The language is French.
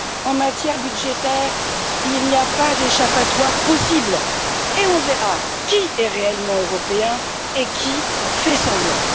En matière budgétaire, il n'y a pas d'échappatoire possible et on verra qui est réellement européen et qui fait semblant.